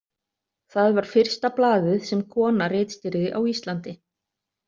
Það var fyrsta blaðið sem kona ritstýrði á Íslandi.